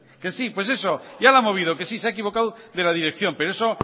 que sí pues eso ya la ha movido que sí se ha equivocado de la dirección pero eso